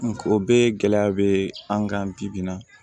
o bɛɛ ye gɛlɛya be an kan bi bi bi in na